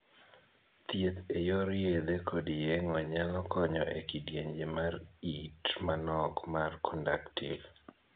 Thieth e yor yedhe kod yeng'o nyalo konyo e kidienje mar it manok mar 'conductive'.